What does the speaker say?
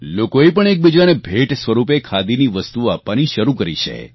લોકોએ પણ એકબીજાને ભેટ સ્વરૂપે ખાદીની વસ્તુઓ આપવાની શરૂ કરી છે